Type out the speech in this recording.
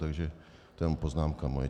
Takže to jen moje poznámka.